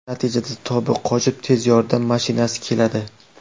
Natijada tobi qochib, tez yordam mashinasi keladi.